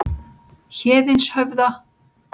Héðinshöfða